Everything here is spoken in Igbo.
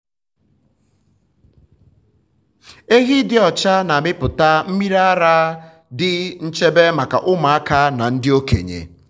ehi dị um ọcha na-amịpụta mmiri ara dị nchebe maka ụmụaka na ndị okenye.